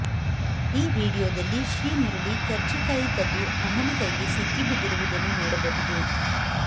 ಈ ವಿಡಿಯೋದಲ್ಲಿ ಶ್ರೀಮುರುಳಿ ಕರ್ಜಿಕಾಯಿ ಕದ್ದು ಅಮ್ಮನ ಕೈಗೆ ಸಿಕ್ಕಿ ಬಿದ್ದಿರುವುದನ್ನು ನೋಡಬಹುದು